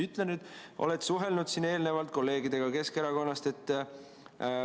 Oled sa suhelnud kolleegidega Keskerakonnast?